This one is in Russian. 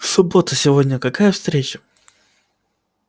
суббота сегодня какая встреча